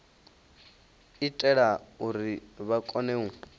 itela uri vha kone u